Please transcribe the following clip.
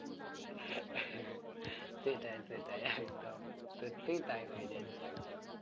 সেটাই সেটাই একদম সত্যিই তাই হয়ে যাচ্ছে একদম